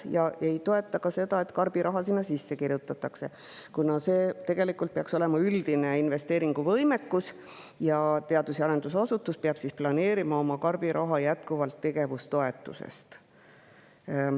Ta ei toeta ka seda, et nii-öelda karbiraha sinna sisse kirjutatakse, kuna see peaks tegelikult olema üldise investeeringuvõimekuse ning teadus‑ ja arendusasutus peab planeerima nii-öelda karbiraha jätkuvalt tegevustoetusest.